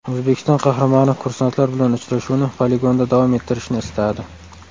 O‘zbekiston Qahramoni kursantlar bilan uchrashuvni poligonda davom ettirishni istadi .